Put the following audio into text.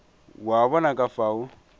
o a bona ka fao